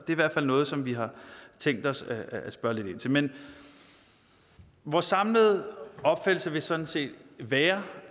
i hvert fald noget som vi har tænkt os at spørge lidt ind til men vores samlede opfattelse vil sådan set være